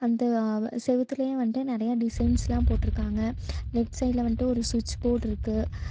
இந்த அ செவுத்துலயு வன்ட்டு நெறைய டிசைன்ஸ்லா போட்ருக்காங்க லெஃப்ட் சைடுல வன்ட்டு ஒரு சுட்ச் போர்ட்ருக்கு .